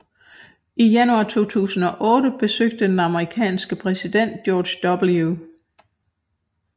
I januar 2008 besøgte den amerikanske præsident George W